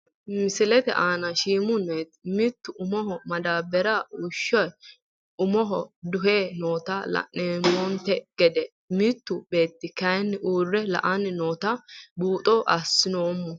Misilete aana shiimu neeti mittu umoho madaabaraho wushe umoho duhe noota lanomonte gedde mittu beeti kayiini uure la`ani nootano buuxo asoomo.